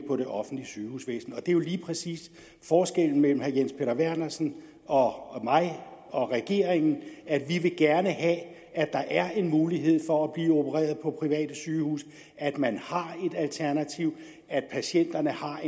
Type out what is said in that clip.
på det offentlige sygehusvæsen og det er jo lige præcis forskellen mellem herre jens peter vernersen og mig og regeringen vi vil gerne have at der er en mulighed for at blive opereret på private sygehuse at man har et alternativ at patienterne har